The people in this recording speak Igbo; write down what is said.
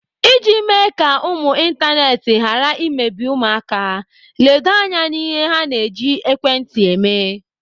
Iji mee ka ụmụ ịntanetị ghara imebi ụmụaka, ledo anya n'ihe ha na-eji ekwentị eme.